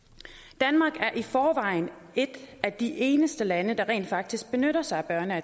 danmark er i forvejen er et af de eneste lande der rent faktisk benytter sig af